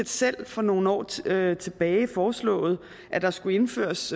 selv for nogle år tilbage tilbage har foreslået at der skulle indføres